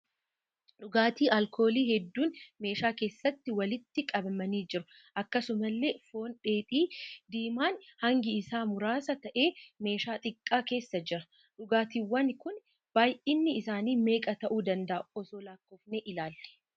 Dhugaatii alkoolii hedduun meeshaa keessatti walitti qabamanii jiru. Akkasumallee foon dheedhii diimaan hangi isaa muraasa ta'e meeshaa xiqqaa keessa jira. dhugaatiiwwan kun baayyinni isaanii meeqa ta'uu danda'aa osoo lakkoofnee ilaallee?